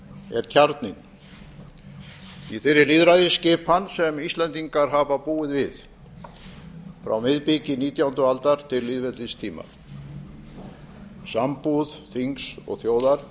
er kjarninn í þeirri lýðræðisskipan sem íslendingar hafa búið við frá miðbiki nítjándu aldar til lýðveldistíma sambúð þings og þjóðar